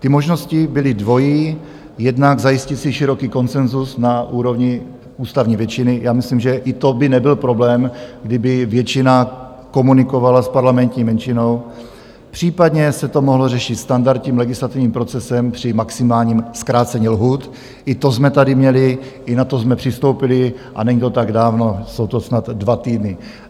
Ty možnosti byly dvojí, jednak zajistit si široký konsenzus na úrovni ústavní většiny - já myslím, že i to by nebyl problém, kdyby většina komunikovala s parlamentní menšinou, případně se to mohlo řešit standardním legislativním procesem při maximálním zkrácení lhůt - i to jsme tady měli, i na to jsme přistoupili a není to tak dávno, jsou to snad dva týdny.